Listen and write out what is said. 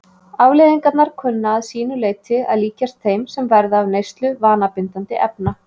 Afleiðingarnar kunna að sínu leyti að líkjast þeim sem verða af neyslu vanabindandi efna.